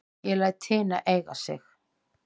Ég læt hina eiga sig.